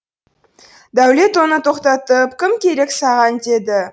дәулет оны тоқтатып кім керек саған деді